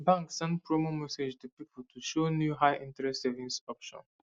bank send promo message to people to show new highinterest savings option